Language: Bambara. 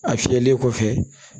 A fiyɛli kɔfɛ